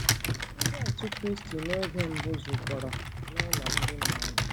Ndị Otù Kristi oge mbụ zukọrọ n'ụlọ ndị mmadụ.